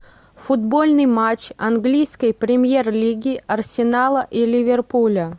футбольный матч английской премьер лиги арсенала и ливерпуля